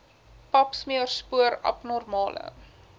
papsmeer spoor abnormale